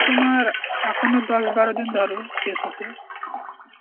তোমার এখনও দশ বারো দিন ধরো শেষ হতে.